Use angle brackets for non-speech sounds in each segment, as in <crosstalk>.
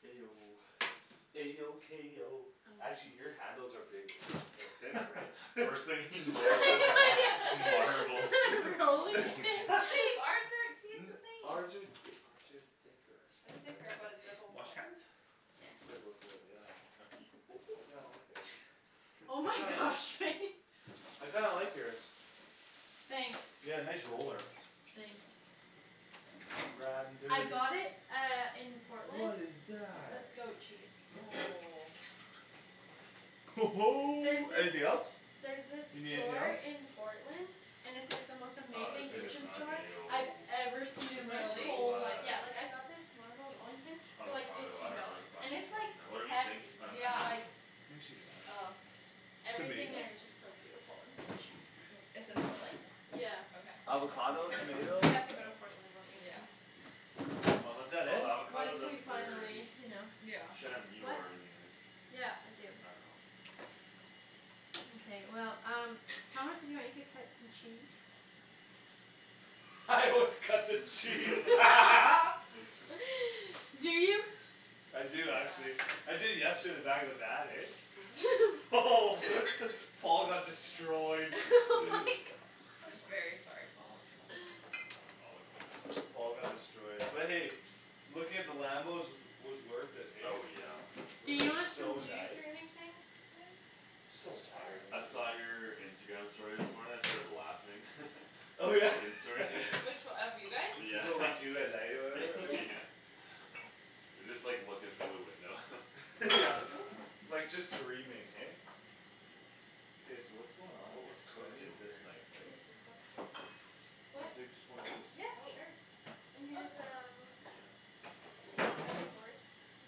A O A O K O actually <noise> your handles are bigg- uh they're thinner, right? <laughs> First thing he notices is the marble <laughs> <laughs> Rolling rolling pin? pin. <laughs> But babe, our <inaudible> the <laughs> same! Ours are th- ours are thicker. They're Think our thicker but they're both Wash wood. hands? Yes. They're both wood, yeah. I kinda <noise> like theirs. Oh I my kind of gosh, Faye. <laughs> I kinda like yours. Thanks. Yeah, nice roller. Thanks. Ridin' I dirty. got it uh in What Portland. is That's that? goat cheese. <noise> There's Anything this else? There's this You need anything store else? in Portland And it's like the most Oh, amazing there's, I like, guess kitchen not. store I've tomato ever seen in my Really? whole Arugula life. Yeah, like, I got this marble rolling pin For like Avocado, I fifteen dunno, there's dollars, a and bunch of it's, stuff like, in there. Whatever you think hefty. Uh an Yeah. Like onion. I think she's all right over <noise> there. Everything Tomato? there is just so beautiful and so cheap. <noise> It's in Portland? Yeah. Okay, I'm gonna Avocado? go find Tomato? Yeah. We that then. have to No. go to Portland one Yeah. weekend. Is Unless, that oh, the it? avocado's Once up we there finally, already. you know. Yeah. Shan, you know What? where everything is. Yeah, I do. I dunno. Mkay, well, um Thomas if you want you could cut some cheese. <laughs> Let's cut the cheese. <laughs> <laughs> <laughs> <noise> Do you? I do actually. Yeah. I did yesterday in the back of the van, eh? <laughs> <laughs> Paul got <laughs> destroyed. <laughs> My <noise> gosh. I'm very sorry, Paul. All good. Paul got destroyed but hey, looking at the Lambos was, was worth it, hey? Oh, yeah. Do Those are you want some so juice nice. or anything, guys? Just some water Sure. I maybe. saw your Instagram story this morning; I started laughing. <laughs> The Megan story. <laughs> <laughs> Which o- of you guys? This is Yeah, what we <laughs> do at night or whatever? Oh Yeah. yeah. <laughs> <laughs> You're just, like, looking through the window. <laughs> Yeah, Oop like, just dreaming, hey? K, so what's going on What here? was So I cooked in need this here? knife, right? Can What? I take just one of these? Yep, Oh. sure. And Oh, it's here's fine there. um Yeah. Slowly. Here's a cutting board. You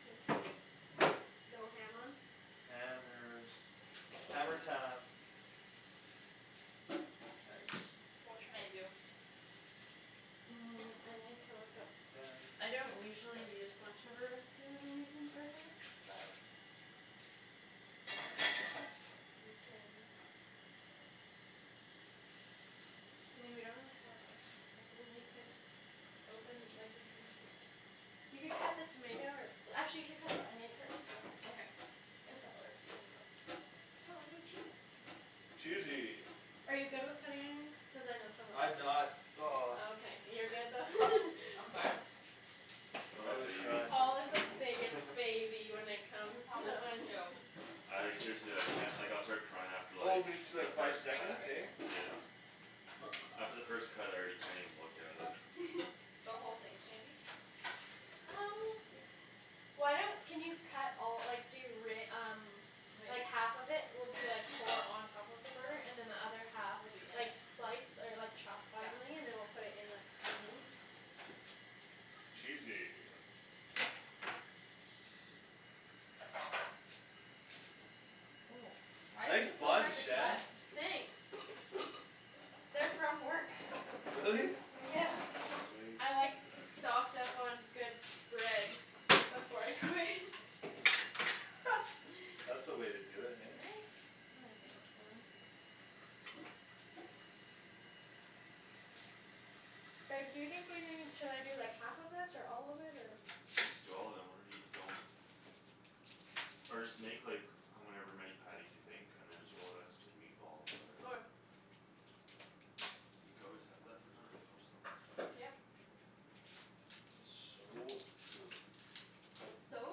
can go ham on. Hammers. Hammer time. Nice. What can I do? Mm, I need to look up Hammer time. I don't usually use much of a recipe when I'm making burgers, but You can I mean, we don't really have a ton <noise> of them. You could Open, like, you can You could cut the tomato or Actually, you should cut the onion first. Okay. If that works. Oh, hey, cheese. Cheesy! Are you good with cutting onions? Cuz I know some of us I'm aren't not. He's Oh, <noise> not. okay. You're good though. <laughs> I'm fine. I'm I a always baby. cry. Paul is the biggest <laughs> baby when it comes Thomas to is onions. too. <laughs> I, like, seriously I can't. Like I'll start crying after, Oh like, me too, the like We're five first just gonna cut. cut seconds, right hey? here? Yeah. Yep. After the first cut I already can't even look at it. <laughs> The whole thing, Shandy? Um Why don't, can you cut all, like, do re- um Like, <inaudible> half of it will be, like, for on top of the burger and then the other half Will be in Like, it? slice or, like, chop Yeah. Finely and then we'll put it in the, the meat. Cheesy. Oh, why is Nice this so buns, hard to Shan. cut? Thanks. They're from work. Really? Yeah. Sweet. I, like, stocked up on good bread Before I quit. <laughs> <laughs> That's the way to do it, <laughs> hey? Right? I think so. Reb, do you think we need, should I do, like, half of this or all of it or I'm just doing all of it and whatever we don't Or just make, like, however many patties you think and then just roll the rest into meatballs or Okay. whatever. You could always have that for another meal somewhere. Yep. <noise> So true. It's so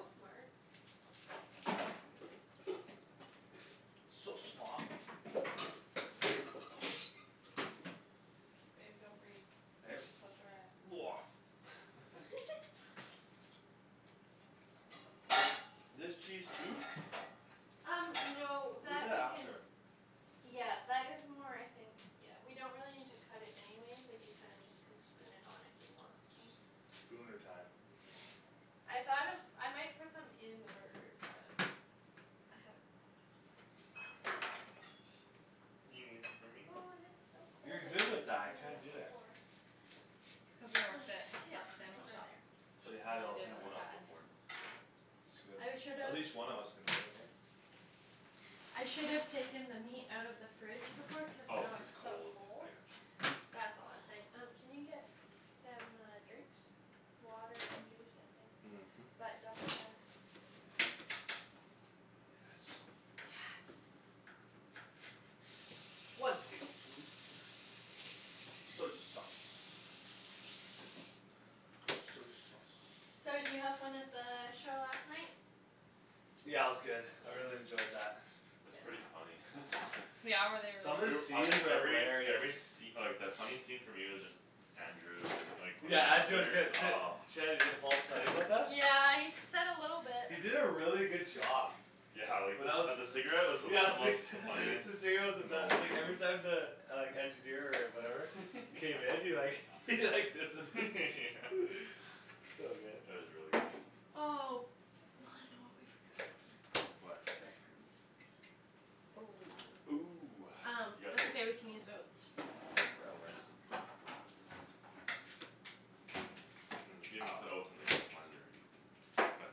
smart. So smaht. Babe, don't breathe. Close your eyes. <noise> <laughs> <laughs> Do I do this cheese too? Um no We'll do that that we can after. Yeah, that is more, I think Yeah, we don't really need to cut it anyways. Like, you kinda just Can spoon it on if you want some. Spooner time. I thought of, I might put some in the burger but I haven't decided. You gonna leave some for me? Ooh, this is so cold. You're I good should've with that, I taken that can't out do it. before. Did It's you cuz I bring them? My, worked at yeah, that it's Oh. sandwich over shop. there. They And had it all all I <noise> the did time, Take was what eh? cut off of where? onions. It's good. I should've At least one of us can do it, hey? I should've taken the meat out of the fridge before cuz Oh, now cuz it's it's so cold, cold. I got you. That's all I was saying. Um can you get Them uh drinks? Water and juice, I think, Mhm. but double check. Yes. Yes. One tablespoon Soy sauce. Soy sauce. So did you have fun at the show last night? Yeah, it was good. I Yeah? really enjoyed that. It's Yep. pretty funny. <laughs> Yeah? Were they really Some of the good? <noise> I scenes think are every, every hilarious. sce- like, the funny scene for me was just Andrew and, like, Yeah, Andrew was whenever good. <inaudible> D- oh. Shanny, did Paul tell you about that? Yeah, he s- said a little bit. He did a really good job. Yeah, like, the When I was, s- uh yeah <laughs> the the cigarette cigarette was the most funniest was the moment best, like every time the Like engineer or whatever K, then he like <laughs> he like did the <laughs> <noise> So good. It was really good. Oh, I know what we forgot. What? Bread crumbs. Oh. Ooh, Um, you got that's okay oats? we can use oats. Oh, real That works. oats. Mm, you could even put Oh oats in, like, the blender even but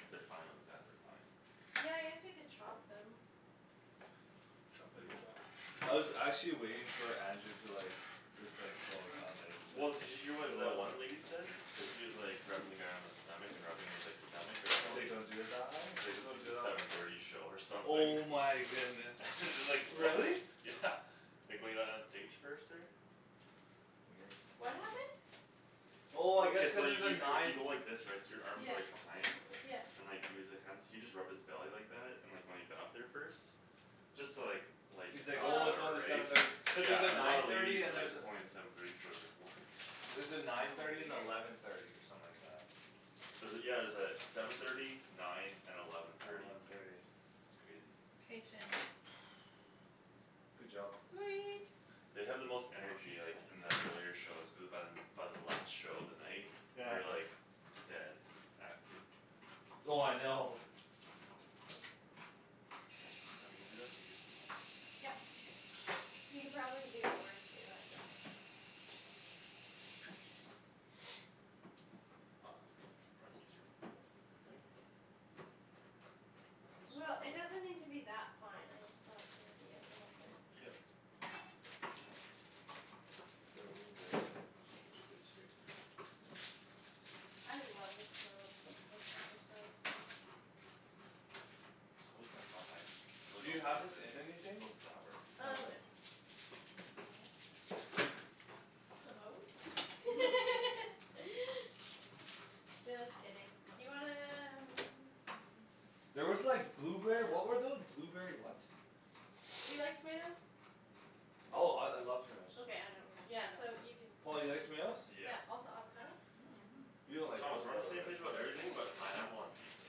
if they're fine like that, they're fine. Yeah, I guess we could chop them. Choppity chop. I was actually waiting for Andrew to like Just like, go around, like Well, did you hear what the one <inaudible> lady said? Cuz he was, like, rubbing the guy on his stomach and rubbing his, like, stomach or He's like belly don't do the thigh? Like this Don't is do the the seven thirty show or something. Oh my goodness. <laughs> Just like, what? Really? Yeah, like when he got on stage first there. Weird. What happened? Oh I guess Okay, so cuz you there's a y- y- you nine go like this, right? So your arms are like Yeah. behind? Yeah. And like he was li- hands he just rubbed his belly like that and when he got up there first Just to, like, lighten the He's like, crowd or "Oh, Oh it's whatever, only right? seven thirty." Cuz there's a Yeah, and one of nine the thirty ladies and is like, there's a it's only seven thirty, she was like, "What?" There's a nine Oh thirty and weird. eleven thirty or something like that. Was it, yeah, it was uh seven thirty nine and eleven And thirty. eleven thirty. It's crazy. Patience. <noise> Good job. Sweet. They have the most energy, like, in the earlier shows cuz by By the last show of the night Yeah. you're, like Dead, acting. Oh I know. Let me do that and you can do something else? Yep. You could probably do more too, I just Aw, I was gonna say it's probably easier in a blender, <noise> right? A little It'll Well, get smaller? it smaller? doesn't need to be that fine, I just thought maybe a little bit. Yep. The Here I'll oat move bag's the oats coming somewhere else onto you'll my have more space space here. here. I love the smell of worcestershire sauce. So <inaudible> I Do really you don't like have this it. in It's anything? so sour. No, Um no. right? Oh. Some oats? <laughs> <laughs> Just kidding. Do you wanna um <noise> There was like Do you blueberry, what were know? tho- blueberry what? Do you like tomatoes? Oh, I, I love tomatoes. Okay, I don't. Yeah, No, I so don't. you could Paul, you like tomatoes? Yeah. Yeah, also avocado? <noise> You don't like Thomas we're on the avocado, same Or, page right? about everything ooh, that's but so pineapple hard. on pizza.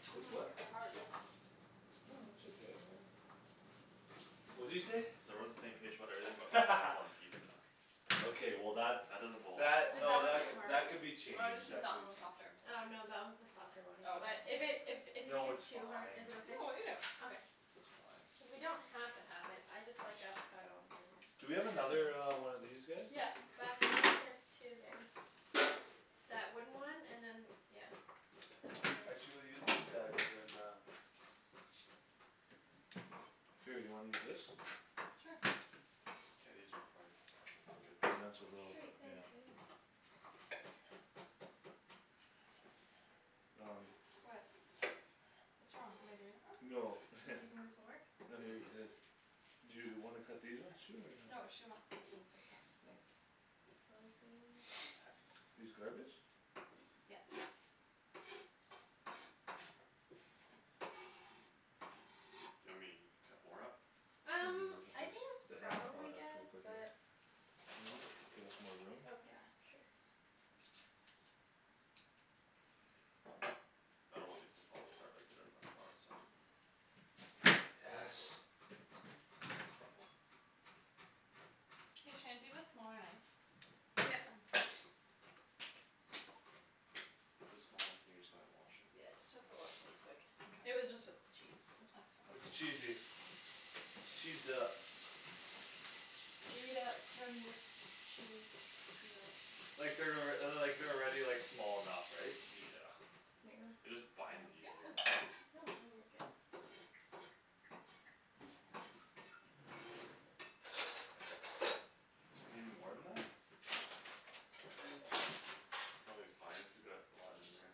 T- oh With my gosh. what? Hard. No, it's okay. Really? What'd you say? Said we're on the same page about everything but pineapple on <laughs> pizza. Okay, well, that, That doesn't belong that, Is on that no, one that it. too c- hard? that could be Oh, I just changed think that that could be one was softer. Oh, no, that one's the softer one, Oh, but okay. If it, if d- if you think No, it's it's too hard, fine. is it okay? No, I'll eat it. Okay. It's fine. Cuz we don't have to have it. I just like avocado on burgers. Do we I do have another too. uh one of these guys? Yeah. Back there there's two there. That wooden one and then that d- yeah, that one there. Actually we'll use this guy cuz then uh Here, you wanna use this? Sure. K, these are probably good I'm doing so enough little. Sweet, ish. Yeah. thanks, babe. Um What? What's wrong? Am I doing it wrong? No Do you think this <laughs> will work? No, he already did Mhm. his. Do you wanna cut these ones too or no? No, she wants these ones like that. Oh. Slice it. These garbage? Yes. You want me to cut more up? I'm Um, gonna put I this, think that's the end probably product good we'll put here. but Can you I'll do move? a little bit Give more. us more room? Yeah. Okay, sure. I don't want these to fall apart like they did on us last time. Yes. Hey, Shan, do you have a smaller knife? Yep. There's a small one here, you just gonna wash it? Yeah, just have to wash this quick. It Mkay. was just with <noise> cheese, so. That's It's fine. cheesy. It's cheesed up. Gee it up from the Chee Like they're alrea- uh the, like, they're already like, small enough, right? Yeah. Here you go. It just binds easier. <noise> No, no, you're good. You need more than that? <noise> Probably fine cuz we got a lot in there.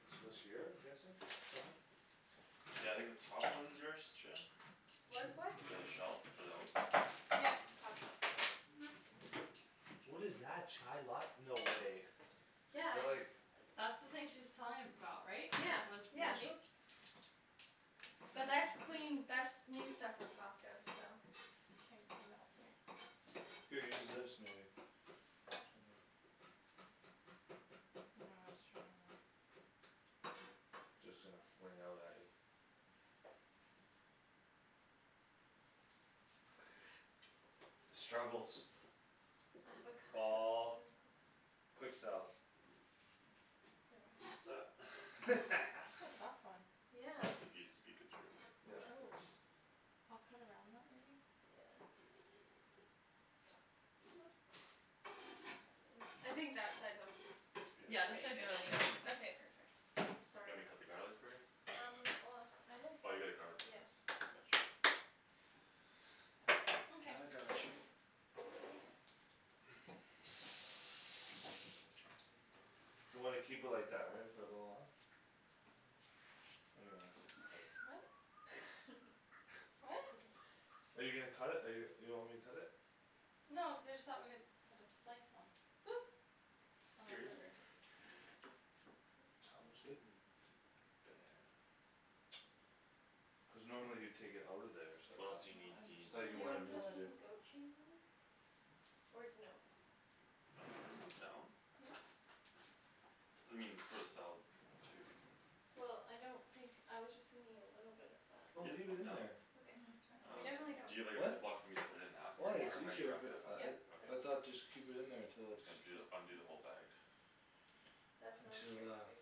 This goes here? I'm guessing? Somewhere? Yeah, I think the top one's yours, Shan? What's what? The shelf for the oats? Yep. Top shelf. What is that? Chai lat- no way. They're Yeah like That's the thing she was telling about, right? Yeah, That was yeah. Which moldy? But <noise> that's clean, that's new stuff from Costco, so. I can't get it out. Here. Here, use this maybe. Or something. No, I was trying that. Just gonna fling out at you. <noise> The struggles. Avocado Paul. struggles. Quick selves. <laughs> <laughs> That's a tough one. Yeah. Helps if you speak it through. Yeah, of Oh, course. I'll cut around that maybe. Yeah. <noise> Okay. I think that side looks It's Yeah, beautiful. this pretty side's good really good. anyways. Okay, perfect. Oops, You sorry. want me to cut the garlic for you? Um well, I was, Oh, you got a garlic yeah. press. Gotcha. Mkay. I got you. You wanna keep it like that, right? For a little while? Or do you wanna cut it? What? <laughs> I <laughs> What? dunno. Are you gonna cut it? Or you, you want me to cut it? No, I just thought we could put this slice on. Oop. On our Scare you? Hey burgers. I Tom guess. is good. T- <inaudible> Cuz normally you'd take it out of there so I What else thought, Well, do you need, do I'm you I need, just thought telling like Do you you you wanna wanted to me put kill to it. <inaudible> do some goat cheese in there? Or no? I'm down. I mean, it's for the salad too. Well, I don't think, I was just thinking a little bit of that. Oh, Yep, leave it I'm in down. there. I Okay. mean, it's fine We I'll Um, definitely don't just do it. do you have, like, a What? Ziploc for me to put it in after? Why? Or It's how do you easier wrap if Yep. it it up uh after? it Yep. Okay. I So cool. thought just keep it in there I'm until just it's gonna ju the, undo the whole bag. That sounds Until great, uh babe.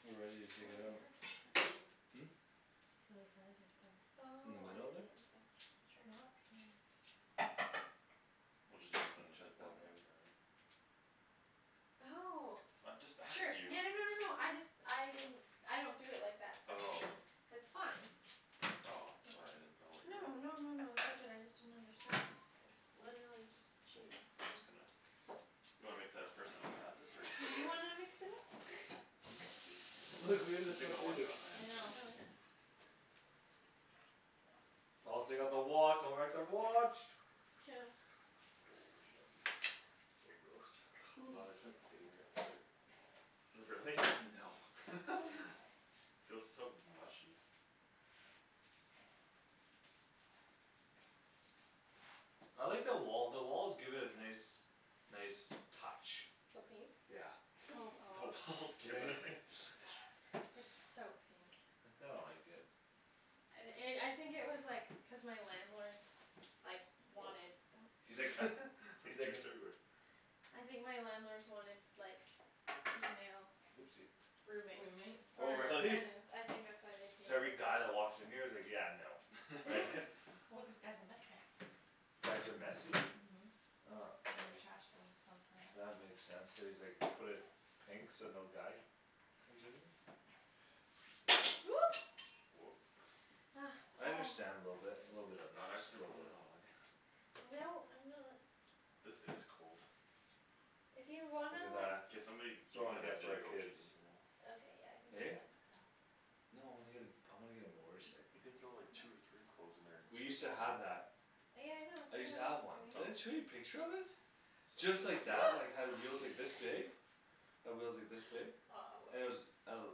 We're ready to It's really take it hard out. right there. Hmm? It's really hard right there. In the Oh, I middle see, there? okay, sure. Okay. We'll, just use it from And the chuck Ziploc that maybe. after, right? Oh I just sure, asked you. <laughs> yeah, no no no no, I just, I didn't I don't do it like that but it's Oh. That's fine. Oh, sorry I didn't know It's what no your no no no no, it's all good. I just didn't understand; it's literally just K, cheese, I'm so. just gonna. You wanna mix that up first then I'll add this or just Do right you away? wanna <laughs> mix it up? <laughs> <noise> Babe, have to take my Look, watch, we do can the you take same my too. watch off? My I hands know. are Oh, yeah. dirty. Paul, take off the wa- don't wreck the watch. <noise> Oh, yummy. So gross. Love i- <noise> it's my favorite part. Really? No. <laughs> <laughs> Feels so mushy. I like the wall, the walls give it a nice Nice touch. The pink? Yeah. Oh <laughs> <laughs> The gosh. walls give it a nice touch. <laughs> It's so pink. I kinda like it. And i- I think it was, like, cuz my landlords Like, Oh. wanted, oh He's like <laughs> <noise> He's He's like a juiced everywhere. I think my landlords wanted, like, female Oopsie Roommates. Roommate? Oh Or really? tenants. I think that's why they painted So every it guy that pink. walks in here is like, "Yeah, no." Right? <laughs> <laughs> <laughs> Well, cuz guys are messy. Guys are messy? Mhm, and they trash <noise> things sometimes. That makes sense; so he's, like, put it Pink? So no guy comes in here? Oop. Whoop. Ugh, I Paul. understand a little bit, a little bit of Not it, just a accident little prone at bit. all, eh? No, I'm not. This is cold. If you Look wanna, at like that. K, somebody, you Someone might get have it to for do the our goat kids. cheese in here though. Okay, yeah, I can do Eh? that. No, I wanna get a, I wanna get a Y- motorcycle. you can throw, like, No. two or three cloves in there and We used squeeze That's to at <inaudible> have once. that. Yeah, I know, it's I what I used to was have one. doing. Did Oh. I show you a picture of it? Sorry, Just didn't like see. that, <noise> like, had wheels, like, this big. <laughs> Had wheels like this No. Aw, big. And it was oops. el-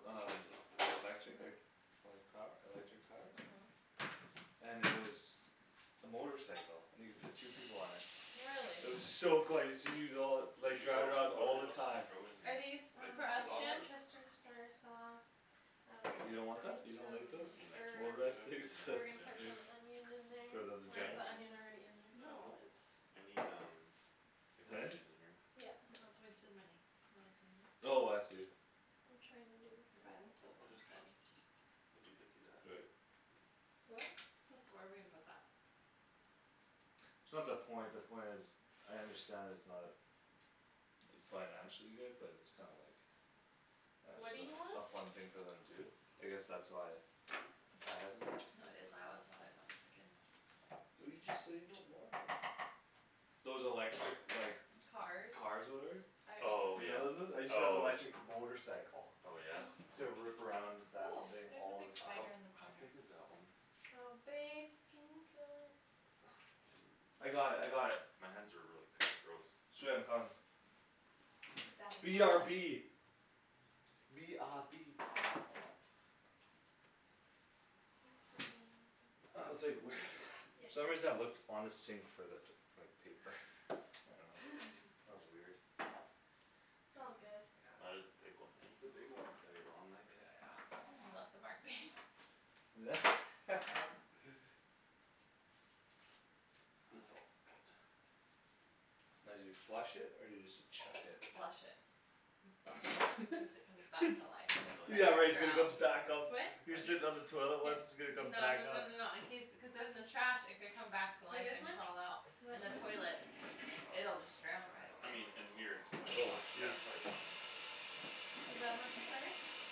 We should rinse it off, um like, - right now. lectric? Okay Like, like, power, electric powered? Mhm. And it was a motorcycle and you could fit two people on it. Really? It was so cool I used to use it all, Did like, you throw, drive it around what all did, the else did you time. throw in Are here? these Like for Um us, the Shan? sausage worcestershire sauce. I was You gonna don't want put that? in You don't like those? some You mean like herbs. Motorized ketchup things and <laughs> We're herbs, gonna yeah. put some onion in For there them to or is drive? the onion already in there? Uh, No, nope, it's I need um The goat Huh? cheese in here. Yeah. No, it's a waste of money, Anthony. Oh I see. I'm trying to do this You buy them garlic. clothes We'll just instead. We could dip you that. Do it. What? This, where are we gonna put that? It's not the point; the point is I understand it's not d- Financially good but it's kinda like Uh What do you just want? a f- a fun thing for them to do. I guess that's why I had one. No, it is, I always wanted one as a kid. But you just said you don't want it. Those electric, like Cars. Cars whatever? I Oh, alw- You yeah, know those ones? I used to have oh. electric motorcycle. Oh, yeah? <laughs> Used to rip around that Oh, thing there's a all big the How, time. spider in the how corner. big is that one? Oh babe, can you kill it? I got it. I got it. <noise> My hands are really kinda gross. Sweet, I'm coming. The daddy B R long B. legs. B R B. Thanks for doing that, babe. I I, was like, I "Where" need the goat cheese in <laughs> there Yep. For some soon. reason I looked on the sink for that, like, paper. I dunno. <laughs> <laughs> That was weird. - t's <noise> I all good. That got. is a big one, It's eh? a big one. Daddy long leg. Yeah, yeah. You left a mark, babe. <laughs> It's all good. Now do you flush it or do you just chuck it? Flush it. You flush. <laughs> Cuz it comes back It's, to life if So like onion in left yeah, like it's gonna there, come drowned. too? back up. What? You're Onion? sitting on the toilet Yes. what's, it's gonna come No no back no up. no no, in case, cuz then the trash, it could come back to Like life this and much? crawl out. Is In that the too much? toilet Oh, that's a lot. it'll just drown right I away. mean in here it's probably Oh fi- yeah, shoot. it's probably fine. Is that much better? Sure.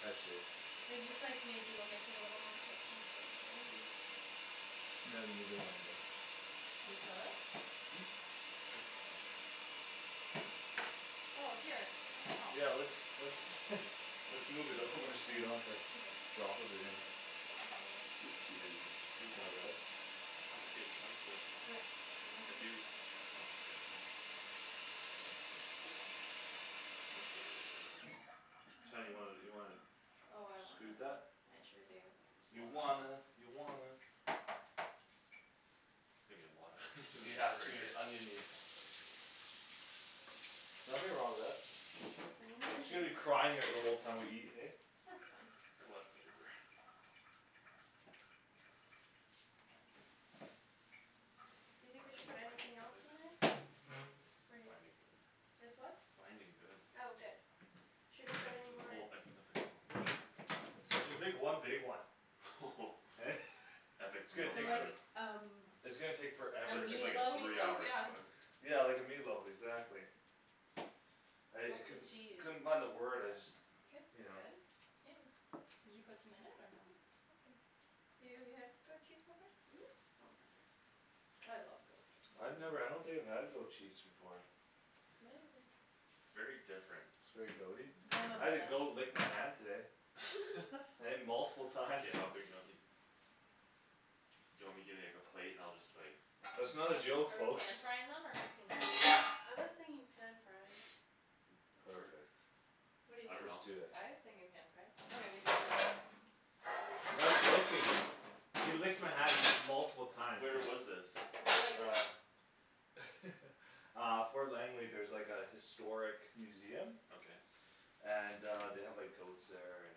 I see. It's just, like, maybe we'll make it a little more cohesive, right? Yep. <inaudible> Can we kill it? Hmm? It's fine. Oh, here, let me help. Yeah, let's, let's <laughs> Let's move it Should over these, so are you don't these have to too big? drop Should everything. I slice 'em a little more? Oopsie daisy. If you That's my want. bad. I'm okay with chunks but Okay, then let's If do you, chunks. oh, k. Chunky. Shan, you wanna, you wanna Oh, I scoot wanna. that? I sure do. That's a You lotta onion. wanna, you wanna There's gonna be a lotta onion in these Yeah, it's gonna be burgers. <laughs> onion-y. Nothing wrong with that. She's Hands are gonna be good. crying at the whole time we eat, hey? That's fine. A lotta flavor. Do you Oh, think we should that's put binding anything else in there? good. It's Pretty. binding good. It's what? Binding good. Oh, good. Should I put Like, any the more whole, I can put, like, the whole chunk of tomatoes. Just make one big one. <laughs> <laughs> Epic It's gonna Meal So take for- Time. like um It's gonna take A forever It's to like, like Like the a meatloaf? meat three loaf, hour yeah. cook. Yeah, like a meatloaf, exactly. I, I How's the couldn't, cheese? couldn't find the word. I just Good. Is You it know. good? Yeah. Did you put some in it Yeah, or no? awesome. So you have, you had goat cheese before? Mhm. Okay. I love goat cheese. I've never, I don't think I've had goat cheese before. It's amazing. It's very different. It's very goat- y? I'm I had a goat obsessed. lick my hand today. <laughs> <laughs> Hey? Multiple times. K, how big do you want these? Do you want me to give you, like, a plate and I'll just like That's not a joke, Are we pan folks. frying them or cooking them? I was thinking pan frying. <noise> Sure. Perfect. What do you I Let's dunno. think? do it. I was thinking pan fry. That's how we Okay. do ours. Not joking. He licked my hand m- multiple times. Where was this? I really like this. Uh <laughs> Uh Fort Langley, there's, like, a historic museum Okay. And uh they have, like, goats there and